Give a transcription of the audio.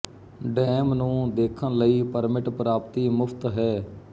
dam ਨੂੰ ਦੇਖਣ ਲਈ ਪਰਮਿਟ ਪ੍ਰਾਪਤੀ ਮੁਫ਼ਤ ਹੈ